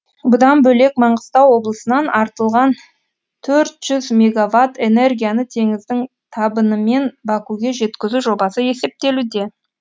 бұдан бөлек маңғыстау облысынан артылған төрт жүз мегаватт энергияны теңіздің табынымен бакуге жеткізу жобасы есептелуде